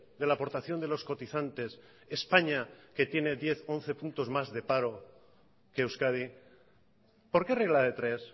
de la aportación de los cotizantes españa que tiene diez once puntos más de paro que euskadi por qué regla de tres